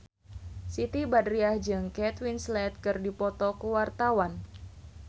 Siti Badriah jeung Kate Winslet keur dipoto ku wartawan